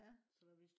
ja